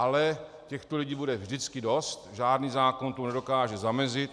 Ale těchto lidí bude vždycky dost, žádný zákon tomu nedokáže zamezit.